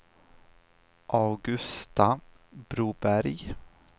Augusta Broberg